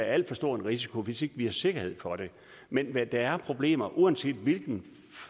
alt for stor risiko hvis ikke vi har sikkerhed for det men der er problemer og uanset hvilken